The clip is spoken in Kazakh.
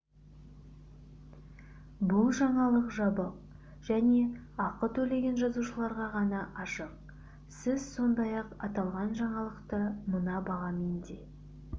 бұл жаңалық жабық және ақы төлеген жазылушыларға ғана ашық сіз сондай-ақ аталған жаңалықты мына бағамен де